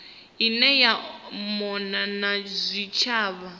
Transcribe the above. ine ya mona na zwitshavha